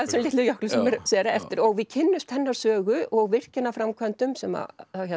þessum litlu jöklum sem eru eftir og við kynnumst hennar sögu og virkjanaframkvæmdum sem